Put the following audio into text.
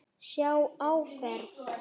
Sjá áferð.